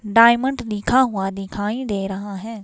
Diamond दिखा हुआ दिखाई दे रहा है.